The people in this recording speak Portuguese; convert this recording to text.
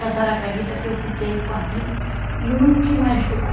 E a senhora acredita que eu fiquei com aquilo e não quis mais estudar?